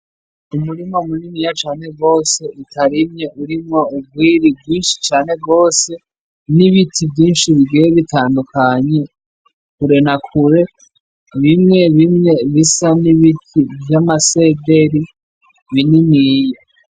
Umurima muniniya cane gose utarimye urimwo urwiri rwinshi cane gose , n’ibiti vyinshi bigiye bitandukanye kure na Kure , bimwe bimwe bisa n’ibiti vy’amasederi bininiya.